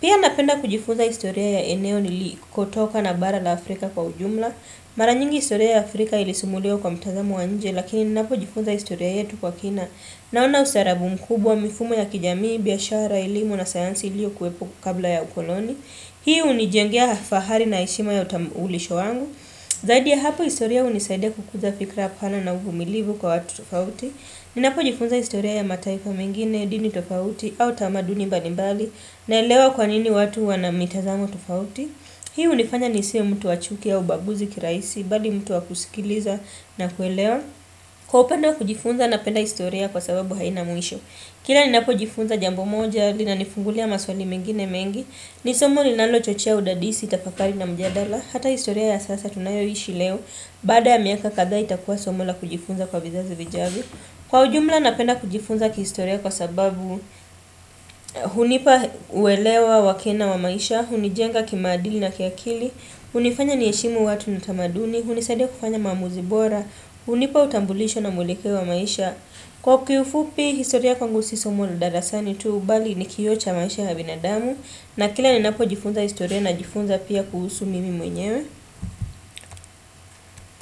Pia napenda kujifunza historia ya eneo nilikutoka na bara la Afrika kwa ujumla. Maranyingi historia ya Afrika ilisumuliwa kwa mtazamo wa nje lakini napo jifunza historia yetu kwa kina. Naona ustarabu mkubwa mifumo ya kijamii, biashara, elimu na sayansi lio kuwepo kabla ya ukoloni. Hii unijengea fahari na eshima ya utambulisho wangu. Zaidi ya hapa istoria unisaidia kukuza fikra apana na uvumilivu kwa watu tofauti. Ninapo jifunza istoria ya mataifa mengine, dini tofauti, au tamaduni balimbali. Naelewa kwa nini watu wanamitazamo tofauti. Hii unifanya nisiyo mtu wachuki au ubaguzi kiraisi, bali mtu wakusikiliza na kuelewa. Kwa upendo kujifunza na penda historia kwa sababu haina muisho. Kila ninapo jifunza jambo moja lina nifungulia maswali mengine mengi. Nisomo ninalochochea udadisi tafakari na mjadala. Hata historia ya sasa tunayo ishi leo. Bada ya miaka kada itakuwa somo la kujifunza kwa vizazi vijavio. Kwa ujumla napenda kujifunza kihistoria kwa sababu hunipa uwelewa wakina wa maisha. Hunijenga kimadili na kiakili. Hunifanya niyeshimu watu na tamaduni. Hunisadia kufanya mamuzi bora. Hunipa utambulisho na mulekeo wa maisha. Kwa kifupi, historia kwangu sisomo la dadasani tu. Ubali ni kiocha maisha habinadamu. Na kila ni napo jifunza historia na jifunza pia kuhusu mimi mwenyewe.